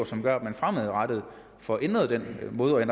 som gør at man fremadrettet får ændret den måde at